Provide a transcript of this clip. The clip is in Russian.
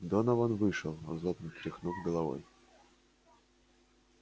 донован вышел злобно тряхнув головой